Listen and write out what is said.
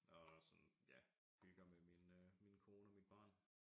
Og sådan ja hygger med min øh min kone og mit barn